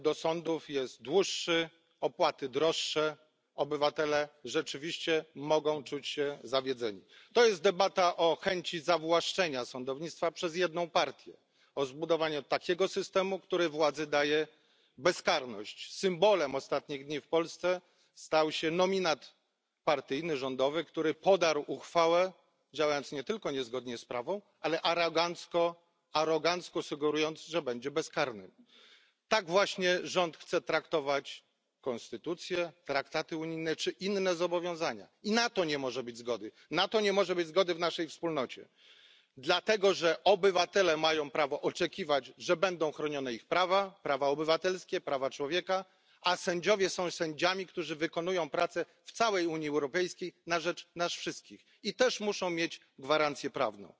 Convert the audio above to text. Pani Przewodnicząca! Rzeczywiście to nie jest debata o reformie sądownictwa, bo takiej reformy w Polsce nie ma. Dostęp do sądów jest dłuższy, opłaty droższe, obywatele rzeczywiście mogą czuć się zawiedzeni. To jest debata o chęci zawłaszczenia sądownictwa przez jedną partię, o zbudowaniu takiego systemu, który władzy daje bezkarność. Symbolem ostatnich dni w Polsce stał się nominat partyjny, rządowy, który podarł uchwałę, działając nie tylko niezgodnie z prawem, ale arogancko sugerując, że będzie bezkarny. Tak właśnie rząd chce traktować konstytucję, traktaty unijne czy inne zobowiązania i na to nie może być zgody. Na to nie może być zgody w naszej wspólnocie, dlatego że obywatele mają prawo oczekiwać, że będą chronione ich prawa, prawa obywatelskie, prawa człowieka, a sędziowie są sędziami, którzy wykonują pracę w całej Unii Europejskiej na rzecz nas wszystkich, i też muszą mieć gwarancję prawną.